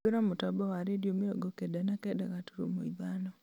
hingũra mũtambo wa rĩndiũ mĩrongo kenda na kenda gaturumo ithano